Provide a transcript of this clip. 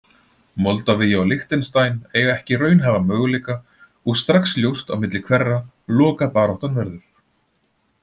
Moldavía og Liechtenstein eiga ekki raunhæfa möguleika og strax ljóst á milli hverra lokabaráttan verður.